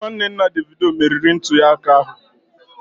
Nwanne nna Davido meriri ntunyeaka ahụ